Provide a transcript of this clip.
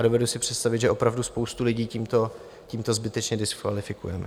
A dovedu si představit, že opravdu spoustu lidí tímto zbytečně diskvalifikujeme.